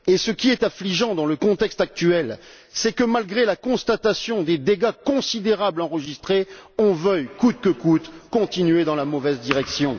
Et ce qui est affligeant dans le contexte actuel, c'est que, malgré la constatation des dégâts considérables enregistrés, on veuille, coûte que coûte, continuer dans la mauvaise direction.